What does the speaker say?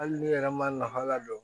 Hali n'i yɛrɛ ma lahala dɔn